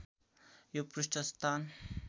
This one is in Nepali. यो पृष्ठ स्थान